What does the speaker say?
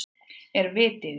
Er vit í því?